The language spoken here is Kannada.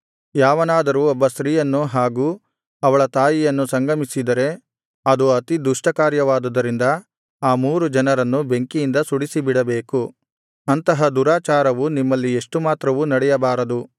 ಯಾವನಾದರೂ ಒಬ್ಬ ಸ್ತ್ರೀಯನ್ನು ಹಾಗೂ ಅವಳ ತಾಯಿಯನ್ನು ಸಂಗಮಿಸಿದರೆ ಅದು ಅತಿದುಷ್ಟಕಾರ್ಯವಾದುದರಿಂದ ಆ ಮೂರು ಜನರನ್ನು ಬೆಂಕಿಯಿಂದ ಸುಡಿಸಿಬಿಡಬೇಕು ಅಂತಹ ದುರಾಚಾರವು ನಿಮ್ಮಲ್ಲಿ ಎಷ್ಟು ಮಾತ್ರವೂ ನಡೆಯಬಾರದು